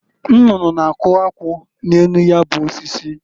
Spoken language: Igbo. Nnụnụ na-akụ akwụ n'enu ya bụ osisi.